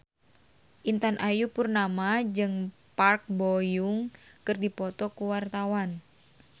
Intan Ayu Purnama jeung Park Bo Yung keur dipoto ku wartawan